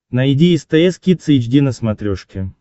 найди стс кидс эйч ди на смотрешке